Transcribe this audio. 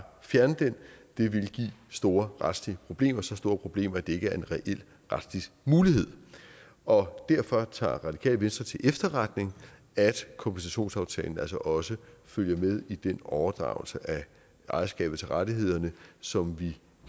fjerne den det ville give store retslige problemer så store problemer at det ikke er en reel retslig mulighed og derfor tager det radikale venstre til efterretning at kompensationsaftalen altså også følger med i den overdragelse af ejerskabet til rettighederne som vi